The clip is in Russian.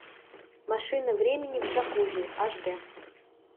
машина времени в джакузи аш д